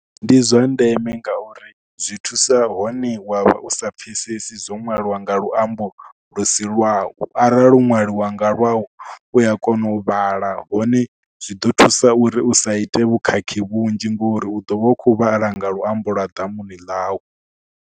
Ndi zwa ndeme ngauri zwi thusa hone wa vha u sa pfhesesi, zwo ṅwaliwa nga luambo lu si lwau. Arali ho ṅwaliwa nga lwau, u ya kona u vhala hone zwi ḓo thusa uri u sa ite vhukhakhi vhunzhi ngori u ḓo vha hu khou vhala nga luambo lwa ḓamuni ḽau.